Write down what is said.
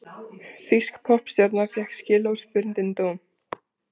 Þýsk poppstjarna fékk skilorðsbundinn dóm